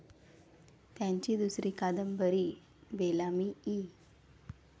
त्याची दुसरी कादंबरी, बेलामी, इ.